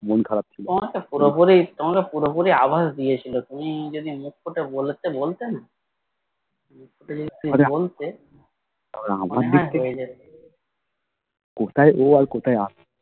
তোমাকে পুরোপুরি তোমাকে পুরোপুরি আভাস দিয়েছিলো তুমি যদি মুখ ফুটে বলতে বলতে না মুখ ফুটে যদি বলতে তাহলে মনে হয় হয়ে যেত